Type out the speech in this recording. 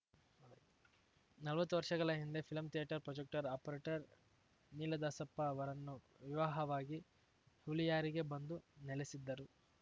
ನಲ್ವತ್ತು ವರ್ಷಗಳ ಹಿಂದೆ film theatre projector operator Neeladasappa ಅವರನ್ನು ವಿವಾಹವಾಗಿ ಹುಳಿಯಾರಿಗೆ ಬಂದು ನೆಲೆಸಿದ್ದರು